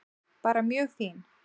Bara mjög fín.